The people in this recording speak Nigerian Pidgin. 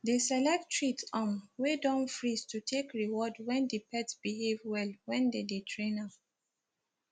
they select treats um wey don freeze to take reward when the pet behave well when they dey train am